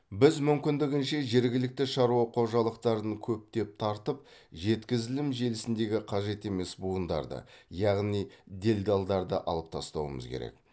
біз мүмкіндігінше жергілікті шаруа қожалықтарын көптеп тартып жеткізілім желісіндегі қажет емес буындарды яғни делдалдарды алып тастауымыз керек